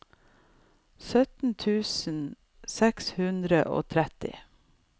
sytten tusen seks hundre og tretti